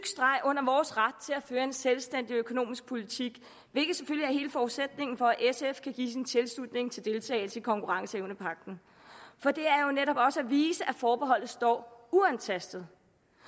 streg under vores ret til at føre en selvstændig økonomisk politik hvilket selvfølgelig er hele forudsætningen for at sf kan give sin tilslutning til deltagelse i konkurrenceevnepagten for det viser at forbeholdet står uantastet